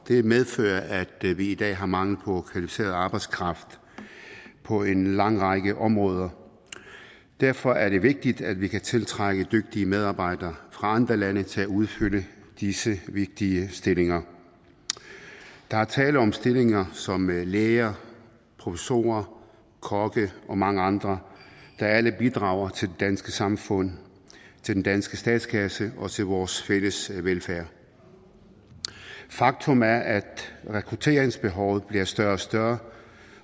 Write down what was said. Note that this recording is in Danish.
det medfører at vi i dag har mangel på kvalificeret arbejdskraft på en lang række områder derfor er det vigtigt at vi kan tiltrække dygtige medarbejdere fra andre lande til at udfylde disse vigtige stillinger der er tale om stillinger som læger professorer kokke og mange andre der alle bidrager til det danske samfund til den danske statskasse og til vores fælles velfærd faktum er at rekrutteringsbehovet bliver større og større